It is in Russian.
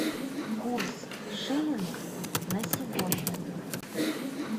курс шиллинг на сегодня